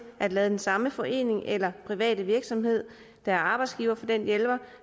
at lade den samme forening eller private virksomhed der er arbejdsgiver for den hjælper